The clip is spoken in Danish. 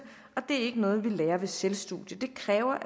og det er ikke noget vi lærer ved selvstudium det kræver at